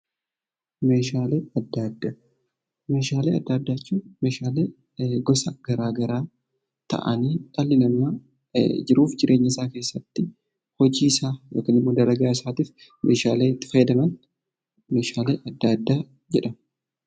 Meeshaalee adda addaa jechuun meeshaalee garagaraa ta'anii kan namni jiruu fi jireenya isaa keessatti hojii isaa yookiin dalagaa isaatiif meeshaaleen itti fayyadaman meeshaalee adda addaa jedhamu.